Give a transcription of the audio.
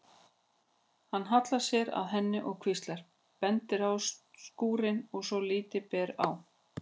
Hann hallar sér að henni og hvíslar, bendir á skúrkinn svo að lítið ber á.